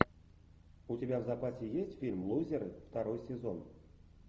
у тебя в запасе есть фильм лузер второй сезон